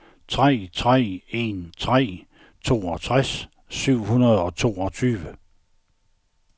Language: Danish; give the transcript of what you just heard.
tre tre en tre toogtres syv hundrede og toogtyve